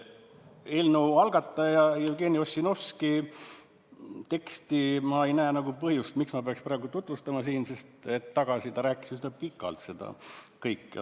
Eelnõu algataja Jevgeni Ossinovski teksti ei näe ma põhjust praegu tutvustada, sest hetk tagasi rääkis ta üsna pikalt sellest kõigest.